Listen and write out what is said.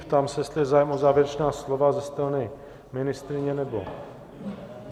Ptám se, jestli je zájem o závěrečná slova ze strany ministryně nebo...